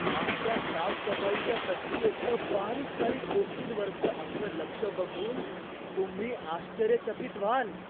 आमच्या साफसफाईच्या प्रक्रियेतलं बारीकसारीक गोष्टींवरचं आमचं लक्ष बघून तुम्ही आश्चर्यचकित व्हाल.